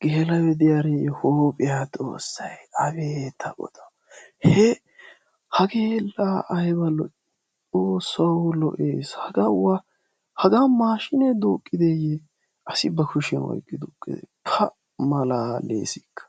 geela7oyi diyaariyyo huuphiya xoossayi abee taa godawu! He hagee la ayba lo7ii xoossawu lo7ees. Hagaa wa hagaa maaashiine dooqqideeyye asi ba kushiyanboottido oyqqi tukkidee pa malaaleesikka!